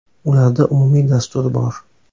Ularda umumiy dastur bor.